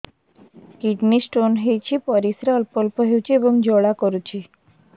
kidney stone ହୋଇଛି ପରିସ୍ରା ଅଳ୍ପ ଅଳ୍ପ ହେଉଛି ଏବଂ ଜ୍ୱାଳା କରୁଛି